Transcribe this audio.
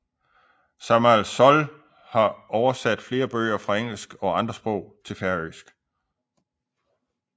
Sámal Soll har oversat flere bøger fra engelsk og andre sprog til færøsk